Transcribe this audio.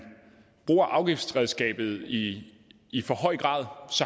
bruger afgiftsredskabet i i for høj grad